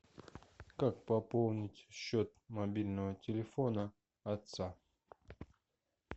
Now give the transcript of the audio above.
как пополнить счет мобильного телефона отца